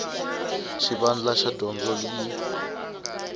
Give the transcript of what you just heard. ya xivandla xa dyondzo yi